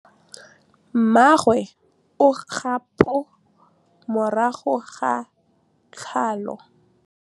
Mmagwe o kgapô morago ga tlhalô.